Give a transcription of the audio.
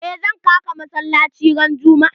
Eh zan ka ka masallaci ran juma'a.